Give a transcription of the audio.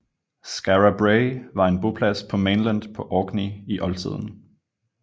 Skara Brae var en boplads på Mainland på Orkney i oldtiden